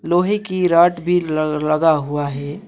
लोहे की रॉड भी लगा हुआ है।